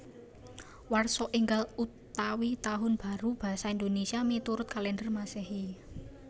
Warsa Ènggal utawi Tahun Baru basa Indonésia miturut kalèndher Masèhi